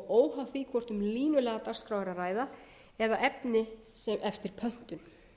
og óháð því hvort um línulega dagskrá er að ræða eða efni eftir pöntun